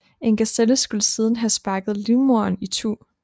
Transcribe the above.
En gaselle skulle siden have sparket livmoderen itu